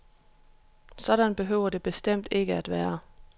Sådan behøver det bestemt ikke at være.